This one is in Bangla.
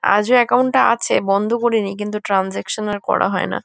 আজও একাউন্ট টা আছে বন্ধ করিনি। কিন্তু ট্রানসাকশান আর করা হয় না।